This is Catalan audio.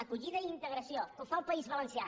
acollida i integra·ció que ho fa el país valencià